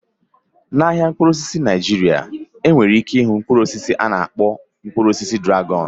Na ahịa mkpụrụ osisi dị na Naijiria, ebere ike ịhụ Mkpụrụ osisi ana akpọ mkpụrụ osisi dragọn